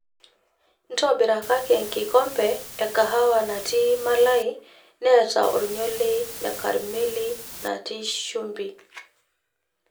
intobirakaki enkikombe ee kahawa natii malai neeta olnyorrei le karmeli natii shumbi